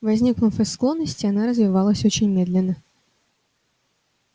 возникнув из склонности она развивалась очень медленно